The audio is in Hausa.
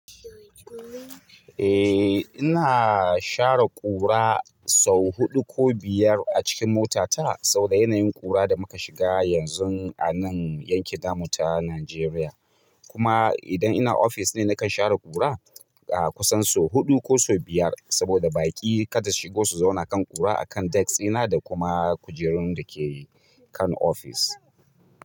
Eh ina share ƙura sau huɗu ko biyar a cikin motata saboda yanayin ƙura da muka shiga yanzu a nan yankin tamu ta Najeriya. Kuma idan ina ofis ne nakan share ƙura a kusan sau huɗu ko sau biyar saboda baƙi kada su shigo su zauna kan ƙura akan desk ina da kuma kujerun da ke kan ofis.